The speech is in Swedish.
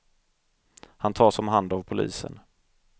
Han tas om hand av polisen.